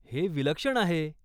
हे विलक्षण आहे!